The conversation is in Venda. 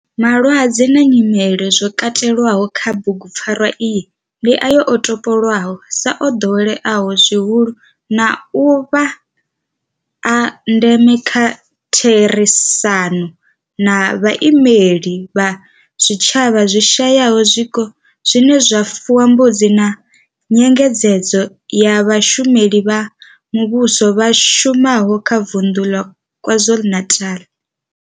Malwadze na nyimele zwo katelwaho kha bugupfarwa iyi ndi ayo o topolwaho sa o doweleaho zwihulu na u vha a ndeme nga kha therisano na vhaimeleli vha zwitshavha zwi shayaho zwiko zwine zwa fuwa mbudzi na nyengedzedzo ya vhashumeli vha muvhusho vha shumaho kha vunḓu ḽa KwaZulu-Natal.